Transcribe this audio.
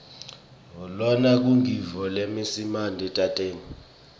lona ngumgidvo wesimantemante